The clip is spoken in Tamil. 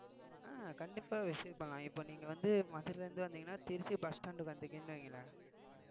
அஹ் கண்டிப்பா visit பண்ணலாம் இப்ப நீங்க வந்து மதுரையில இருந்து வந்தீங்கன்னா திருச்சி bus stand க்கு வந்தீங்கன்னு வையுங்களேன்